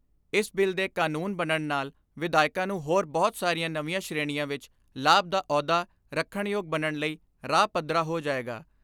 ਇਸ ਬਿੱਲ ਦੇ ਕਾਨੂੰਨ ਬਣਨ ਨਾਲ ਵਿਧਾਇਕਾਂ ਨੂੰ ਹੋਰ ਬਹੁਤ ਸਾਰੀਆਂ ਨਵੀਆਂ ਸ਼੍ਰੇਣੀਆਂ ਵਿਚ ਲਾਭ ਦਾ ਅਹੁਦਾ ਰਖਣਯੋਗ ਬਣਨ ਲਈ ਰਾਹ ਪੱਧਰਾ ਹੋ ਜਾਏਗਾ।